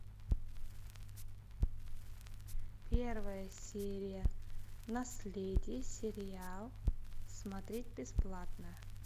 первая серия наследие сериал смотреть бесплатно